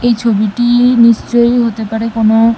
এই ছবিটি নিশ্চই হতে পারে কোনো--